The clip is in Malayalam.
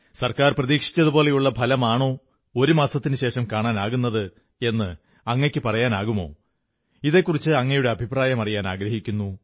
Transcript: സർക്കാർ പ്രതീക്ഷിച്ചതുപോലെയുള്ള ഫലമാണോ ഒരു മാസത്തിനുശേഷം കാണാനാകുന്നത് എന്ന് അങ്ങയ്ക്കു പറയാനാകുമോ ഇതെക്കുറിച്ച് അങ്ങയുടെ അഭിപ്രായം അറിയാനാഗ്രഹിക്കുന്നു